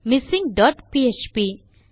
missing dot PHP